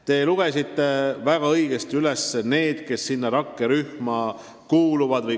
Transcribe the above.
Te märkisite väga õigesti, kelle esindajad rakkerühma kuuluvad.